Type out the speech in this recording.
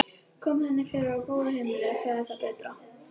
Kom henni fyrir á góðu heimili, sagði það betra.